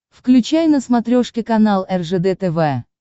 включай на смотрешке канал ржд тв